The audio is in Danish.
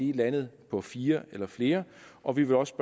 er landet på fire eller flere og vi vil også